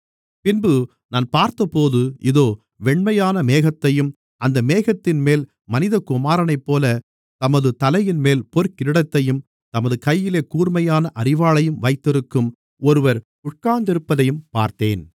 பின்பு நான் பார்த்தபோது இதோ வெண்மையான மேகத்தையும் அந்த மேகத்தின்மேல் மனிதகுமாரனைப்போல தமது தலையின்மேல் பொற்கிரீடத்தையும் தமது கையிலே கூர்மையான அரிவாளையும் வைத்திருக்கும் ஒருவர் உட்கார்ந்திருப்பதையும் பார்த்தேன்